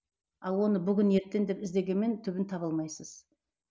ал оны бүгін ертең деп іздегенмен түбін таба алмайсыз